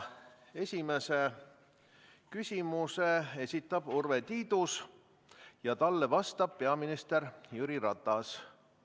Esimese küsimuse esitab Urve Tiidus ja talle vastab peaminister Jüri Ratas.